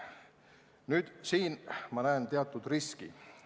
Ma näen siin teatud riski.